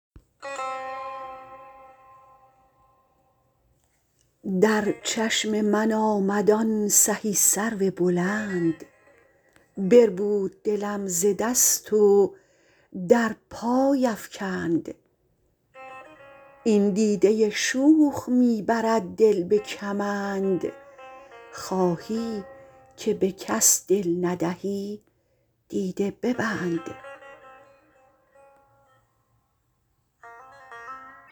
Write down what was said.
در چشم من آمد آن سهی سرو بلند بربود دلم ز دست و در پای افکند این دیده شوخ می برد دل به کمند خواهی که به کس دل ندهی دیده ببند